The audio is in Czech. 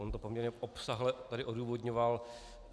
On to poměrně obsáhle tady odůvodňoval.